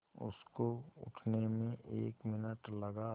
उसको उठने में एक मिनट लगा